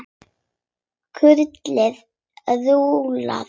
Kurlið rúllar.